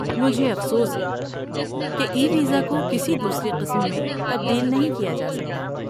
مجھے افسوس ہے کہ ای ویزا کو کسی دوسری قسم میں تبدیل نہیں کیا جاسکتا